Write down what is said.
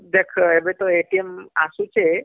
ହମ୍ଏବେତ ଅସୁଛେ